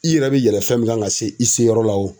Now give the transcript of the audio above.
I yɛrɛ bɛ yɛlɛ fɛn min kan ka se i se yɔrɔ la o.